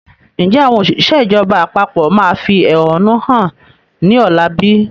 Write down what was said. Ǹjẹ́ àwọn òṣìṣẹ́ ìjọba àpapọ̀ máa fi ẹhónú hàn ni ọ̀la bí?